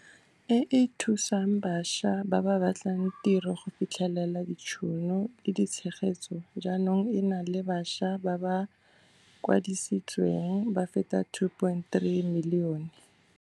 e e thusang bašwa ba ba batlang tiro go fitlhelela ditšhono le tshegetso jaanong e na le bašwa ba ba kwadisitsweng ba feta 2.3 milione.